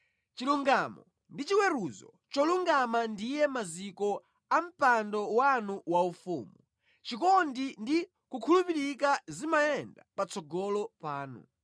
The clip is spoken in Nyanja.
Chilungamo ndi chiweruzo cholungama ndiye maziko a mpando wanu waufumu; chikondi ndi kukhulupirika zimayenda patsogolo panu.